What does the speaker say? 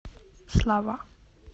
слава